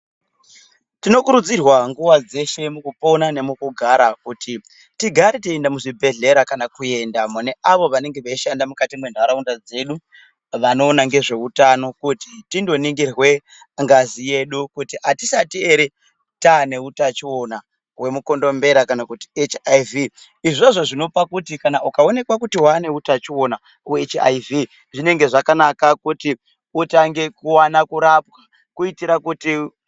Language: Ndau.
Tinokurudzirwa, nguwa dzeshe, mukupona nemukugara, kuti tigare teienda muzvibhedhlera, kana kuenda mune avo vanenge veishanda mukati mwentharaunda dzedu, vanoona ngezveutano, kuti tindoningirwe ngazi yedu, kuti atisati ere, taane utachiwona wemukondombera kana kuti HIV.Izvozvo zvinopa kuti kana ukawonekwa kuti waane utachiwona we HIV zvinenge zvakanaka kuti utange kurapwa, kuitira kuti